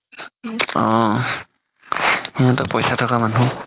অ সিহতৰ পইচা থাকা মানুহ